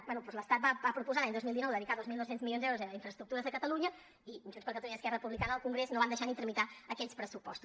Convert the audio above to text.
bé doncs l’estat va proposar l’any dos mil dinou dedicar dos mil dos cents milions d’euros a infraestructures a catalunya i junts per catalunya i esquerra republicana al congrés no van deixar ni tramitar aquells pressupostos